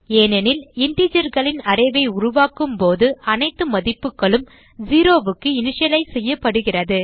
ஏனெனில் integerகளின் அரே ஐ உருவாக்கும்போது அனைத்து மதிப்புகளும் 0 க்கு இனிஷியலைஸ் செய்யப்படுகிறது